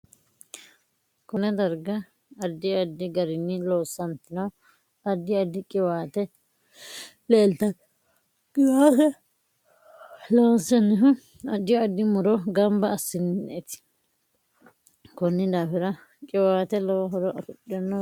Konne daraga addi addi gariini loosantino addi addi qiwaate leeltanno qiwaate loonsanihu addi addi muro ganba asineeti koni daafira qiwaate lowo horo uyiitanno